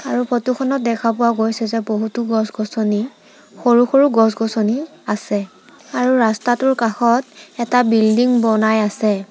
আৰু ফটো খনত দেখা পোৱা গৈছে যে বহুতো গছ-গছনি সৰু-সৰু গছ-গছনি আছে আৰু ৰাস্তাটোৰ কাষত এটা বিল্ডিং বনাই আছে।